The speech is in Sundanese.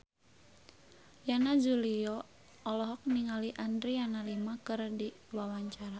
Yana Julio olohok ningali Adriana Lima keur diwawancara